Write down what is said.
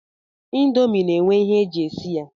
Ndomi na-enwe ihe e ji esi ya